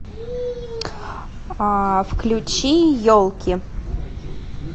включи елки